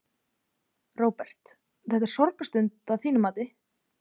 Róbert: Þetta er sorgarstund, að þínu mati?